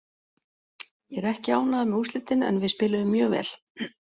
Ég er ekki ánægður með úrslitin en við spiluðum mjög vel.